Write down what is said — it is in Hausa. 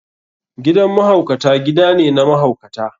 Gidan mahaukata gida ne na mahaukata.